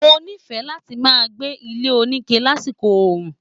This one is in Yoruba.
Mo nife lati máa gbé ilé onike lásìkò oru.